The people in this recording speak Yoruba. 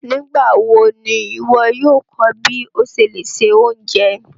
Nígbàwọ̀ ní iwọ̀ yóò kọ́ bí o ṣé lè ṣẹ ọ̀unjẹ?